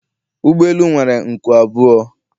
Ụgbọ elu nwere nku abụọ